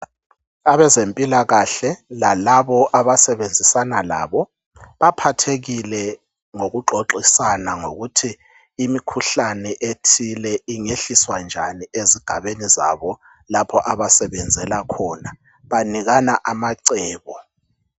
Abezempilakahle lalabo abasebenzisana labo baphathekile ngoku qoqisana ngokuthi imikhuhlane ethile ingehlizwa njani ezigabeni zabo lapho abasebenzela khona banikana abacebo